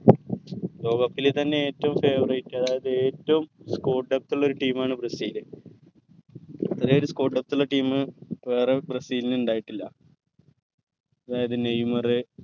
ലോക cup ൽ തന്നെ ഏറ്റവും favourite അതായത് ഏറ്റവും score depth ഉള്ള ഒരു team ആണ് ബ്രസീൽ ഇത്രയും ഒരു score depth ഉള്ള team വേറെ ബ്രസീലിന് ഇണ്ടായിട്ടില്ല അതായത് നെയ്മർ